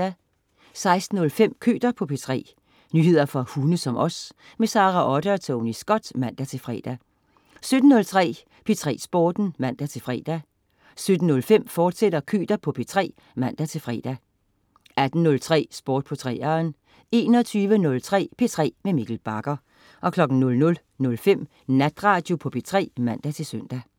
16.05 Køter på P3. Nyheder for hunde som os. Sara Otte og Tony Scott (man-fre) 17.03 P3 Sporten (man-fre) 17.05 Køter på P3, fortsat (man-fre) 18.03 Sport på 3'eren 21.03 P3 med Mikkel Bagger 00.05 Natradio på P3 (man-søn)